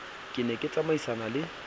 ke ne ke tsamaisana le